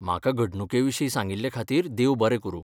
म्हाका घडणुके विशीं सांगिल्लें खातीर देव बरें करूं.